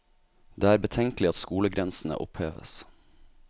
Det er betenkelig at skolegrensene oppheves.